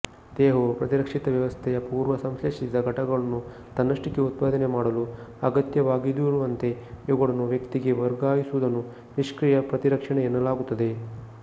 ದೇಹವು ಪ್ರತಿರಕ್ಷಿತ ವ್ಯವಸ್ಥೆಯ ಪೂರ್ವಸಂಶ್ಲೇಷಿಸಿದ ಘಟಕಗಳನ್ನು ತನ್ನಷ್ಟಕ್ಕೇ ಉತ್ಪಾದನೆ ಮಾಡಲು ಅಗತ್ಯವಾಗದಿರುವಂತೆ ಇವುಗಳನ್ನು ವ್ಯಕ್ತಿಗೆ ವರ್ಗಾಯಿಸುವುದನ್ನು ನಿಷ್ಕ್ರಿಯ ಪ್ರತಿರಕ್ಷಣೆ ಎನ್ನಲಾಗುತ್ತದೆ